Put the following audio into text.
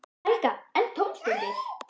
Helga: En í tómstundir?